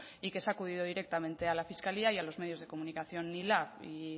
y que se ha acudido directamente a la fiscalía y a los medios de comunicación y lab y